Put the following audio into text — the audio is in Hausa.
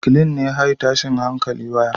Reclean ne high tashin hankali waya